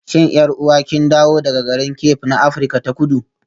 Shin 'yar'uwa kin dawo daga garin Cape na Afirka ta Kudu?